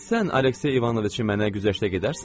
Sən Aleksey İvanoviçi mənə güzəştə gedərsənmi?